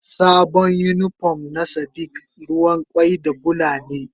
Sabon unipon na sadiq ruwan kwai da Bula ne.